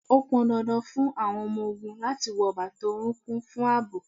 Ó pọn dandan fún àwọn ọmọ ogún láti wọ bàtà orunkun fún ààbò